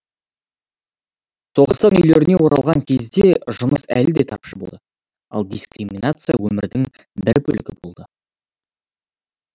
соғыстан үйлеріне оралған кезде жұмыс әлі де тапшы болды ал дискриминация өмірдің бір бөлігі болды